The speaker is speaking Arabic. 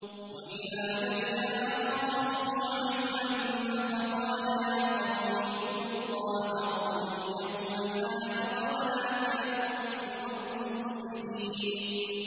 وَإِلَىٰ مَدْيَنَ أَخَاهُمْ شُعَيْبًا فَقَالَ يَا قَوْمِ اعْبُدُوا اللَّهَ وَارْجُوا الْيَوْمَ الْآخِرَ وَلَا تَعْثَوْا فِي الْأَرْضِ مُفْسِدِينَ